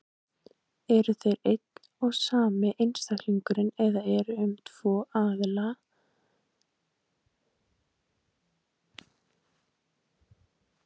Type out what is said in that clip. Eru þeir einn og sami einstaklingurinn eða er um tvo aðskilda einstaklinga að ræða?